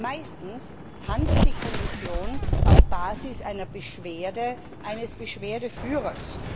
Meistens handelt die Kommission auf Basis einer Beschwerde eines Beschwerdeführers.